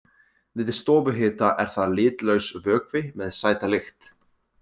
Við stofuhita er það litlaus vökvi með sæta lykt.